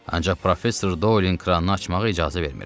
“Ancaq professor Dolin kranını açmağa icazə vermirəm.”